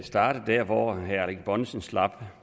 starte der hvor herre erling bonnesen slap